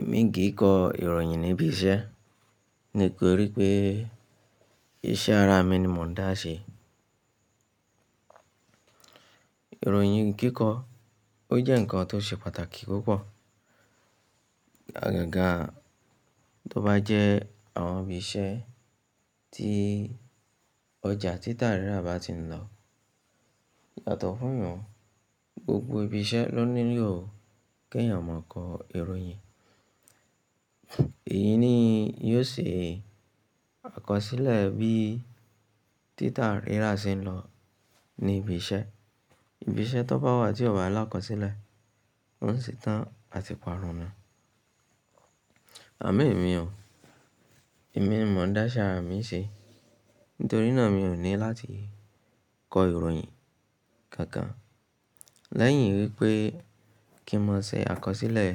Èmi kì í kọ ìròyìn níbi iṣẹ́, nítorí pé iṣẹ́ ara mi ni mò ń dá ṣe. Ìròyìn kíkọ, ó jẹ́ ǹkan tó ṣe pàtàkì púpọ̀. Àgàgà tó bá jẹ́ àwọn ibi iṣẹ́ tí ọjà títà rírà bá ti ń lọ. Yàtọ̀ fún yun, gbogbo ibi iṣẹ́ ló nílò kí èèyàn máa kọ ìròyìn. Èyí ni yóò ṣe àkọsílẹ̀ bí títà rírà ṣe ń lọ ní ibi iṣẹ́. Ibi iṣẹ́ tó bá wà tí ò bá lakọ̀sílẹ̀, ó ń ṣe tán àti parun ni. Àmọn emi ò. Èmi ni mò ń dá iṣẹ́ ara mi ṣe. Nítorí náà mi ò ní láti kọ ìròyìn kankan. Lẹ́yìn wípé kí n má ṣe àkọsílẹ̀